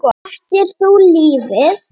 Þekkti lífið.